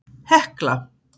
Hekla